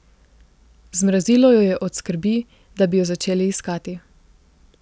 Zmrazilo jo je od skrbi, da bi jo začeli iskati.